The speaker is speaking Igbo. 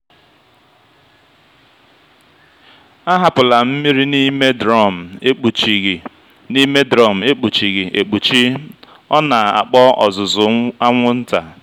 ahapụla mmiri n'ime drọm ekpuchighị n'ime drọm ekpuchighị ekpuchi ọ na-akpọ ozuzu anwụnta.